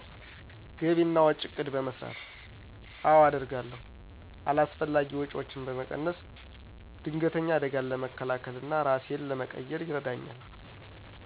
ግቢ እና ወጭ እቅድ በመሰራት። አወ አደርጋለሁ። አላስፈላጊ ወጪወችን በመቀነስ። ድንገተኝ አደጋን ለመከላከል እና እራሴን ለመቅየር ይረዳኝል።